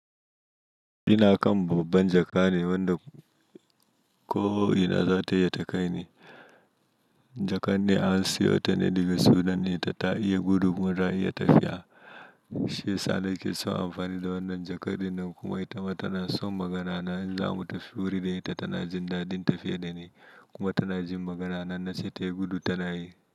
Ina kan babban jaka ne wanda ko ina za ta iya ta kai ni. Jakan ne an siyo ta ne daga Sudan ne ita ta iya gudu kuma ta iya tafiya. Shi ya sa na ke son amfani da wannan jaka dinnan kuma ita ma tana son magana na in za mu tafi wuri da ita tana jin dadin tafiya da ni kuma tana jin magana na inna ce ta yi gudu tana yi.